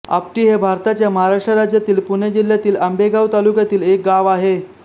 आपटी हे भारताच्या महाराष्ट्र राज्यातील पुणे जिल्ह्यातील आंबेगाव तालुक्यातील एक गाव आहे